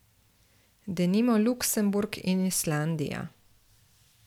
Denimo Luksemburg in Islandija.